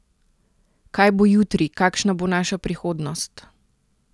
Kaj bo jutri, kakšna bo naša prihodnost?